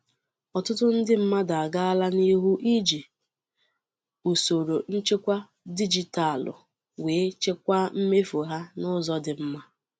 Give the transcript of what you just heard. ọtụtụ ndị mmadụ agaala n'ihu iji usoro nchekwa dijitalụ wee chịkwaa mmefu ha n'ụzọ dị mma.